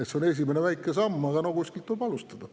See on esimene väike samm, aga kuskilt tuleb alustada.